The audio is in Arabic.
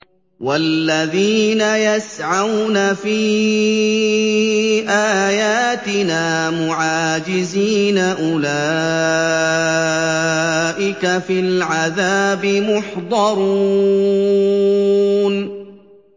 وَالَّذِينَ يَسْعَوْنَ فِي آيَاتِنَا مُعَاجِزِينَ أُولَٰئِكَ فِي الْعَذَابِ مُحْضَرُونَ